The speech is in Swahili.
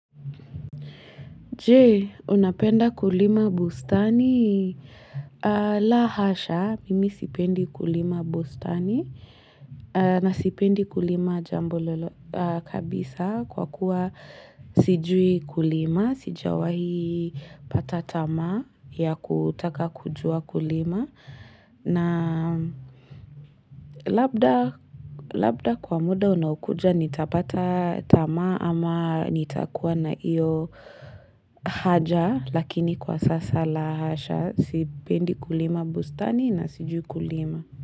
Je, unapenda kulima bustani. La hasha, mimi sipendi kulima bustani na sipendi kulima jambo kabisa kwa kuwa sijui kulima, sijawahi pata tamaa ya kutaka kujua kulima. Na labda kwa muda unaokuja nitapata taama ama nitakuwa na hiyo haja lakini kwa sasa la hasha sipendi kulima bustani na sijui kulima.